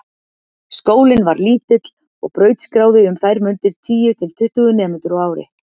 Skólinn var lítill og brautskráði um þær mundir tíu til tuttugu nemendur á ári.